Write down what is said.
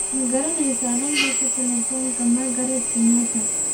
Ma garanaysaa nambarka taleefanka Margaret Kenyatta?